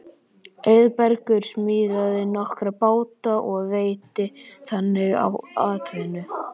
Auðbergur smíðaði nokkra báta og veitti þannig atvinnu.